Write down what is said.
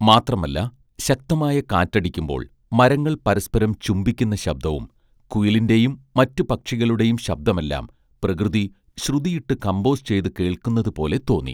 മാത്രമല്ല ശക്തമായ കാറ്റടിക്കുമ്പോൾ മരങ്ങൾ പരസ്പരം ചുംബിക്കുന്ന ശബ്ദവും കുയിലിന്റെയും മറ്റു പക്ഷികളുടെയും ശബ്ദമെല്ലാം പ്രകൃതി ശ്രുതിയിട്ട് കംമ്പോസ് ചെയ്ത് കേൾക്കുന്നത് പോലെ തോന്നി